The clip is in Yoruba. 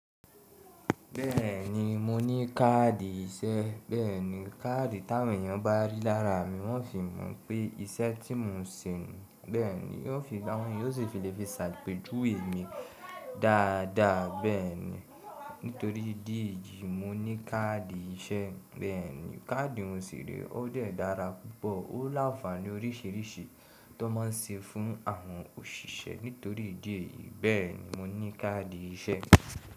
Bẹ́ẹ̀ni mo ní káàdì iṣẹ́, bẹ́ẹ̀ni. Káàdì t'áwọn èyàn bá rí lára mi wọ́n ò fi mọ̀ pé iṣẹ́ tí mo ń ṣe nìí, bẹ́ẹ̀ni. Wọn yóò sì fi lè fi ṣàpèjúwèé mi dáadáa, bẹ́ẹ̀ni. Nítorí ìdí èyí mo ní káàdì iṣẹ́, bẹ́ẹ̀ni. Káàdì n ṣì rèé ó dẹ̀ dára púpọ̀, ó lánfààní oríṣìíríṣìí tó máa ń ṣe fún àwọn òṣìṣẹ́. Nítorí ìdí èyí bẹ́ẹ̀ ni mo ní káàdì iṣẹ́.